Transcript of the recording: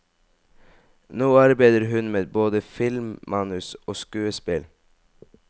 Nå arbeider hun med både filmmanus og skuespill.